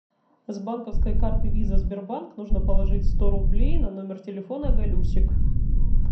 с банковской карты виза сбербанк нужно положить сто рублей на номер телефона галюсик